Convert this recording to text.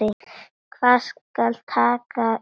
Hvað skal taka til bragðs?